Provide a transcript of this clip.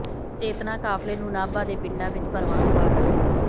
ਚੇਤਨਾ ਕਾਫ਼ਲੇ ਨੂੰ ਨਾਭਾ ਦੇ ਪਿੰਡਾਂ ਵਿੱਚ ਭਰਵਾਂ ਹੁੰਗਾਰਾ